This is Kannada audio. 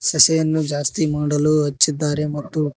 ಸಸಿಯನ್ನು ಜಾಸ್ತಿ ಮಾಡಲು ಹಚ್ಚಿದ್ದಾರೆ ಮತ್ತು--